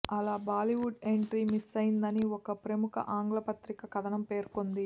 అలా బాలీవుడ్ ఎంట్రీ మిస్సయ్యిందని ఓ ప్రముఖ ఆంగ్ల పత్రిక కథనం పేర్కొంది